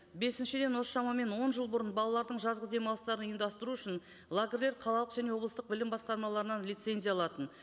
бесіншіден осы шамамен он жыл бұрын балалардың жазғы демалыстарын ұйымдастыру үшін лагерлер қалалық және облыстық білім басқармаларынан лицензия алатын